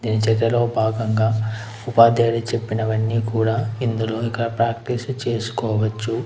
ఉపాధ్యాయులు చెప్పినవన్నీ కూడా ఇందులో ఇక్కడ ప్రాక్టీస్ చేసుకోవచ్చు.